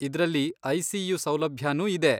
ಇದ್ರಲ್ಲಿ ಐ.ಸಿ.ಯು. ಸೌಲಭ್ಯನೂ ಇದೆ.